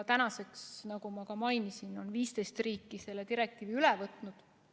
Tänaseks, nagu ma mainisin, on 15 riiki selle direktiivi üle võtnud.